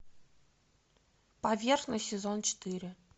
поверхность сезон четыре